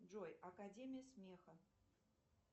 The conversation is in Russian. джой академия смеха